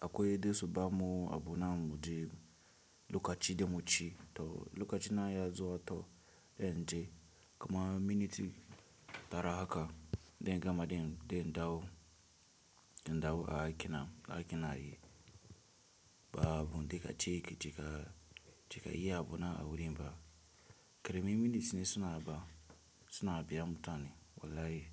Akwai dai su ba mu abu na muje lokaci da mu ci to lokaci na ya zo a to zan je kuma minit tara haka dan gama dan dawo, dan dawo a aiki na, aiki ina yi ba abun dika cik, cika, cika ya abu na a wurin ba. Karemin minutes suna ba, suna biya mutane wallahi.